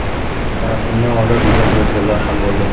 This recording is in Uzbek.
Tarafimni olib izoh yozganlar ham bo‘ldi.